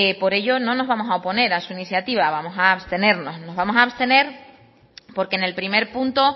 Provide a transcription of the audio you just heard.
por ello no nos vamos a oponer a su iniciativa vamos a abstenernos nos vamos a abstener porque en el primer punto